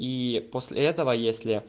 и после этого если